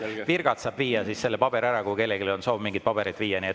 Virgats saab viia paberi ära, kui kellelgi on soov mingeid pabereid viia.